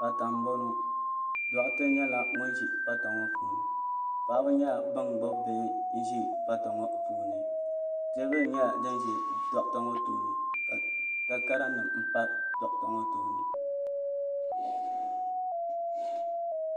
Pata m boŋɔ doɣate nyɛla ŋun ʒi pata ŋɔ puuni paɣaba nyɛla bin gbibi bihi be pata ŋɔ puuni teebuli nyɛla din ʒi doɣate ŋɔ tooni ka takara nima pa doɣate ŋɔ tooni.